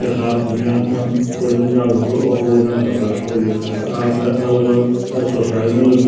यख आपथे भी आण चेणु कुछ दिन जाण से अपड वजन घटा सकद यख आके आपथे अलग-अलग एक्सरसाइज मिलद --